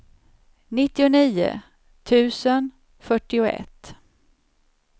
nittionio tusen fyrtioett